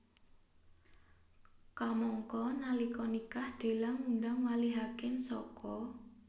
Kamangka nalika nikah Della ngundang wali hakim saka